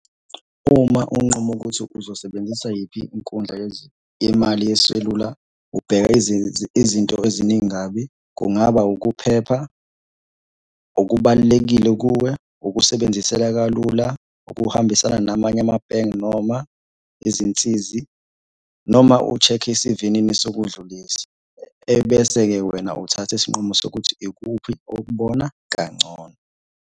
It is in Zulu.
Uma unqume ukuthi uzosebenzisa yiphi inkundla yemali yeselula, ubheka izinto eziningi kabi. Kungaba ukuphepha, okubalulekile kuwe, ukusebenziseka kalula, ukuhambisana namanye amabhenki noma izinsizi noma u-check-e isivinini sokudlulisa, ebese-ke wena uthatha isinqumo sokuthi ikuphi okubona kangcono.